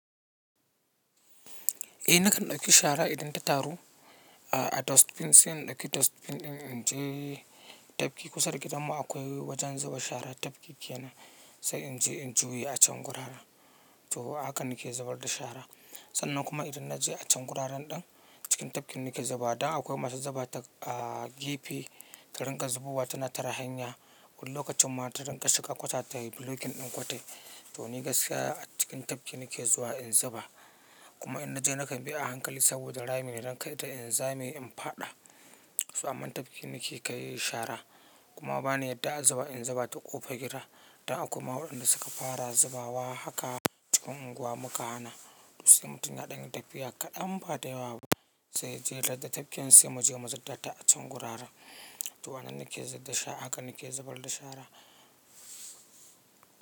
Eh nakan ɗauki shara idan ta taru. A dustbin sai in ɗauki dustbin ɗin in je tafki kusa da gidanmu akwai wajen zuba shara tafki kenan sai in je in juya a can gurara. To haka nake zubar da shara. Sannan kuma idan na je a can guraren ɗin cikin tafkin nake zubawa. Dan akwai masu zuba ta a gefe, ka rinƙa zubowa tana tara hanya. Wani lokacin ma ta rinƙa shiga kwata ta blocking ɗin kwata. To ni gaskiya a cikin tafki nake zuwa in zuba. Kuma idan na je nakan bi a hankali saboda rami idan kai ta in zame in faɗa. Soamman tafkin nake kai shara. Kuma bani yadda a zuba in zuba ta ƙofar gida. Dan akwaima waɗanda suka fara zubawa haka cikin unguwa muka hana. Tosai mutum ya ɗanyi tafiya kaɗan ba da yawa ba sai ya je ladan tafkin sai mu je mu zubda ta a can guraran. To wannan nake zub da sha haka nake zubar da shara.